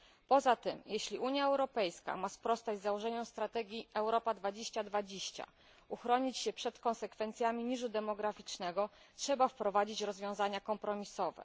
Poza tym, jeśli Unia Europejska ma sprostać założeniom strategii 2020, uchronić się przed konsekwencjami niżu demograficznego, trzeba wprowadzić rozwiązania kompromisowe.